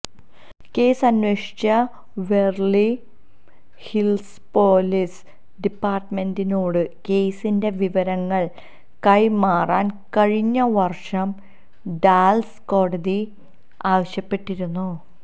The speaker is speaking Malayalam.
കേസ് അന്വേഷിച്ച ബെവര്ലി ഹില്സ് പോലീസ് ഡിപ്പാര്ട്ട്മെന്റിനോട് കേസിന്റെ വിവരങ്ങള് കൈമാറാന് കഴിഞ്ഞ വര്ഷം ഡാലസ് കോടതി ആവശ്യപ്പെട്ടിരുന്നു